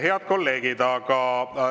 Head kolleegid!